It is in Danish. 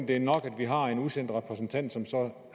det er nok at vi har en udsendt repræsentant som så